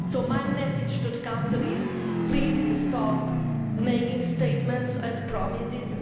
So my message to the Council is please stop making statements and promises